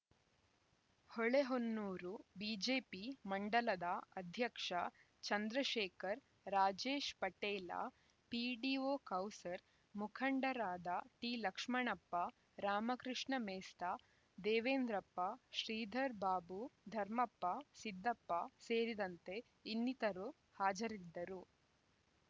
Holehonnur BJP ಮಂಡಲದ ಅಧ್ಯಕ್ಷ Chandrashekar Rajesh Patel PDO Kausar ಮುಖಂಡರಾದ ಟಿ ಲಕ್ಷಣಪ್ಪ ರಾಮಕೃಷ್ಣ ಮೆಸ್ತ ದೇವೆಂದ್ರಪ್ಪ ಶ್ರೀಧರ್‌ ಬಾಬು ಧರ್ಮಪ್ಪ ಸಿದ್ದಪ್ಪ ಸೇರಿದಂತೆ ಇನ್ನಿತರರು ಹಾಜರಿದ್ದರು